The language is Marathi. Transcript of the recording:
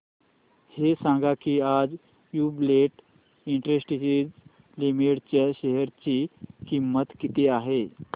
हे सांगा की आज ज्युबीलेंट इंडस्ट्रीज लिमिटेड च्या शेअर ची किंमत किती आहे